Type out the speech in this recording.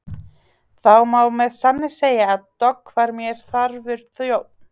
Það má með sanni segja að Dogg var mér þarfur þjónn.